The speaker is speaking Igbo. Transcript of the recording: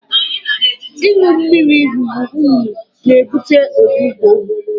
ịṅụ mmiri ruru unyi na-ebute ọgbụgbọ